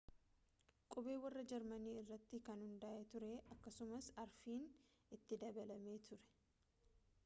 qubee warra jarmanii irratti kan hundaa’e ture akkasumas arfiin õ/õ itti dabalamee ture